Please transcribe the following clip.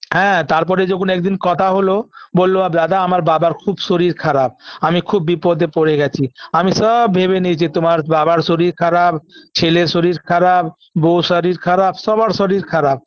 হ্যাঁ তারপরে যখন একদিন কথা হলো বলল আ দাদা আমার বাবার খুব শরীর খারাপ আমি খুব বিপদে পড়ে গেছি আমি সওব ভেবে নিয়েছি তোমার বাবার শরীর খারাপ ছেলের শরীর খারাপ বউর শরীর খারাপ সবার শরীর খারাপ